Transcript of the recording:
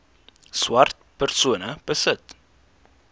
swart persone besit